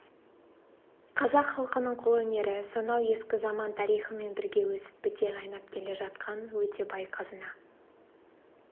қазақ халқының қолөнері сонау ескі заман тарихымен бірге өсіп біте қайнап келе жатқан өте бай қазына